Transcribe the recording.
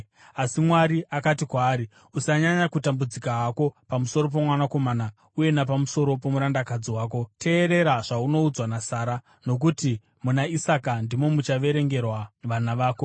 Asi Mwari akati kwaari, “Usanyanya kutambudzika hako pamusoro pomukomana uye napamusoro pomurandakadzi wako. Teerera zvaunoudzwa naSara, nokuti muna Isaka ndimo muchaverengerwa vana vako.